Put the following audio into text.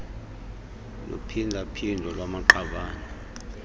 luphinda phindo lwamaqabane